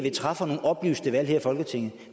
at træffe nogle oplyste valg her i folketinget